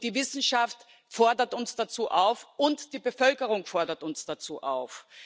Die Wissenschaft fordert uns dazu auf, und die Bevölkerung fordert uns dazu auf.